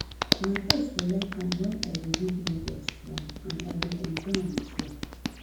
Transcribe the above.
my pet dey like am wen i dey read novels to am and i dey enjoy am too